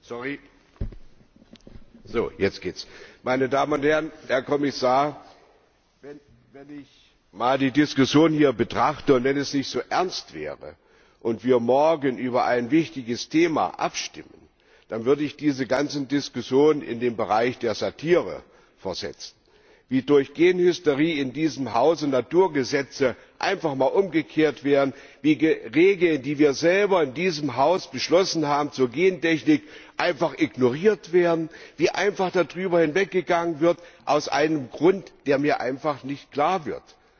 Frau Präsidentin, meine Damen und Herren, Herr Kommissar! Wenn ich die Diskussion hier betrachte wenn es nicht so ernst wäre und wir morgen über ein wichtiges Thema abstimmten, dann würde ich diese ganzen Diskussionen in den Bereich der Satire versetzen. Wie durch Genhysterie in diesem Hause Naturgesetze einfach mal umgekehrt werden, wie Regeln zur Gentechnik, die wir selber in diesem Haus beschlossen haben, einfach ignoriert werden, wie einfach darüber hinweggegangen wird aus einem Grund, der mir einfach nicht klar wird!